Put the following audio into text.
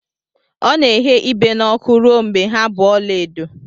Ọ na-eghe ibe n'ọkụ ruo mgbe ha bụ ọla edo.